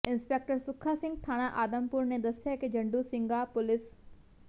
inspector Sukha Singh ਥਾਣਾ ਆਦਮਪੁਰ ਨੇ ਦਸਿਆ ਕਿ ਜੰਡੂ ਸਿੰਘਾ ਪੁਲਿਸ